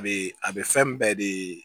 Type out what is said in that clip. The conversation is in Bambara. A bee a be fɛn bɛɛ de